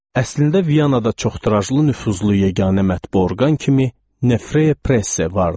Əslində Vyanada çox tirajlı nüfuzlu yeganə mətbu orqan kimi Nefrase vardı.